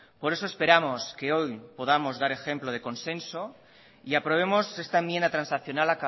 por eso esperamos que hoy podamos dar ejemplo de consenso y aprobemos esta enmienda transaccional